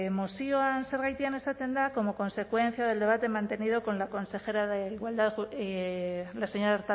mozioan zergatian esaten da como consecuencia del debate mantenido con la consejera de igualdad la señora